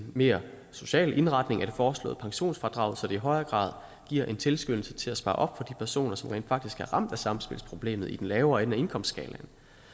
mere social indretning af det foreslåede pensionsfradrag så det i højere grad giver en tilskyndelse til at spare op for de personer som rent faktisk er ramt af samspilsproblemet i den lavere ende af indkomstskalaen